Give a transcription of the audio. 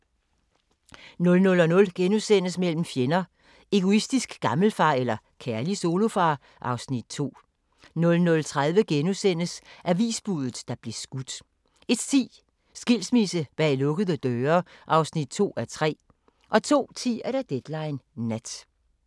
00:00: Mellem fjender: Egoistisk gammelfar eller kærlig solofar? (Afs. 2)* 00:30: Avisbuddet, der blev skudt * 01:10: Skilsmisse bag lukkede døre (2:3) 02:10: Deadline Nat